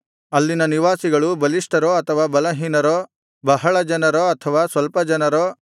ಅಲ್ಲಿನ ನಿವಾಸಿಗಳು ಬಲಿಷ್ಠರೋ ಅಥವಾ ಬಲಹೀನರೋ ಬಹಳ ಜನರೋ ಅಥವಾ ಸ್ವಲ್ಪ ಜನರೋ